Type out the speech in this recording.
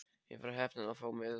Ég var heppin að fá miða.